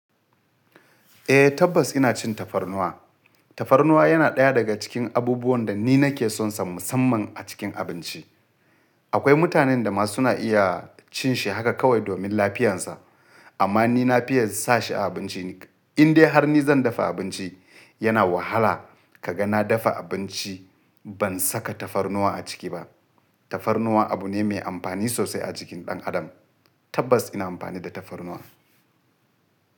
Eh tabbas ina cin tafarnuwa. Tafarnuwa yana ɗaya daga cikin abubuwan da ni nake sonsa musamman a cikin abinci. Akwai mutanen da ma suna iya cin shi haka kawai domin lafiyansa. Amma ni na fiya sa shi a abinci. In dai har ni zan dafa abinci, yana wahala ka ga na dafa abinci ban saka tafarnuwa a ciki ba. Tafarnuwa abu ne mai amfani sosai a jikin ɗan adam. Tabbas ina amfani da tafarnuwa.